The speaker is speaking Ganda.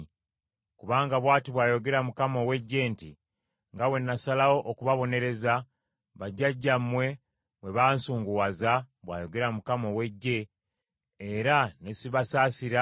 Kubanga bw’ati bw’ayogera Mukama ow’Eggye nti, “Nga bwe nasalawo okubabonereza, bajjajjammwe bwe bansunguwaza,” bw’ayogera Mukama ow’Eggye, “era ne sibasaasira,